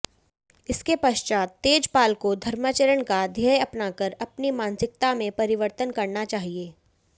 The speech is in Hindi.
इसके पश्चात तेजपालको धर्माचरणका ध्येय अपनाकर अपनी मानसिकतामें परिवर्तन करना चाहिए